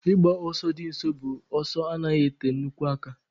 Ịgba ọsọ di nso bụ ọsọ na anaghị ete nnukwu aka.